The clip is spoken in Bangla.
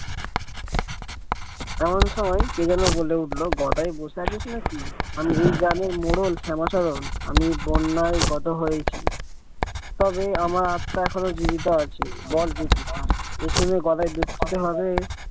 এমন সময় কে যেন বলে উঠলো গদাই বসে আছিস নাকি এই গ্রামের মোড়ল শ্যামাচরণ আমি বন্যায় গত হয়েছি তবে আমার আত্মা এখনো জীবিত আছে বল দেখি এই শুনে গদায় দুঃখিত ভাবে।